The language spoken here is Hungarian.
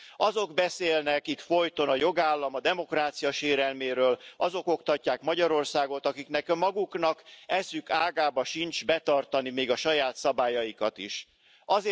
Azok beszélnek itt folyton a jogállam, a demokrácia sérelméről, azok oktatják Magyarországot, akiknek maguknak eszük ágában sincs betartani még a saját szabályaikat sem.